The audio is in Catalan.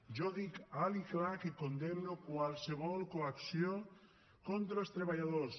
jo dic alt i clar que condemno qualsevol coacció contra els treballadors